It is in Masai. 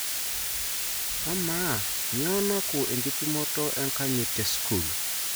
Ama, nyoo naku enkipimoto enkanyit te sukul?